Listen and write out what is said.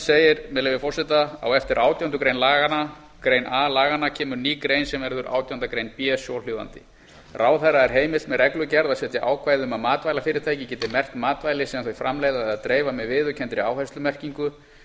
segir að leyfi forseta á eftir átjándu grein a laganna kemur ný grein sem verður átjándu grein b svohljóðandi ráðherra er heimilt með reglugerð að setja ákvæði um að matvælafyrirtæki geti merkt matvæli sem þau framleiða eða dreifa með viðurkenndri áherslumerkingu sem gefi